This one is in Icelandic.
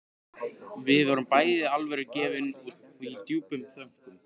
Við vorum bæði alvörugefin og í djúpum þönkum.